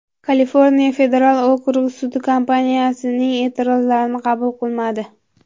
Kaliforniya federal okrug sudi kompaniyaning e’tirozlarini qabul qilmadi.